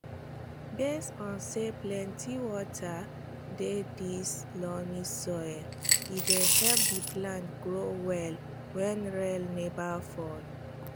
based on say plenty water dey this loamy soil e dey help the plants grow well wen rain neva fall